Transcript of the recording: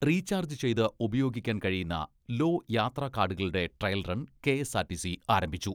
Recharge ചെയ്ത് ഉപയോഗിക്കാൻ കഴിയുന്ന 'ലോ' യാത്രാ കാഡുകളുടെ ട്രയൽ റൺ കെ.എസ്.ആർ.ടി.സി ആരംഭിച്ചു.